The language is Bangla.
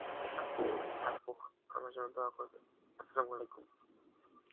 আহ আচ্ছা হোক, আমার জন্যে দোয়া করবেন, Arbi